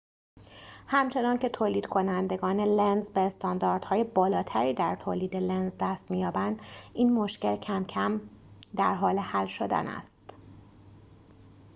همچنان‌که تولیدکنندگان لنز به استانداردهای بالاتری در تولید لنز دست می‌یابند این مشکل کم‌کم در حال حل شدن است